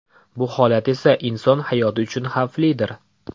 Bu holat esa inson hayoti uchun xavflidir.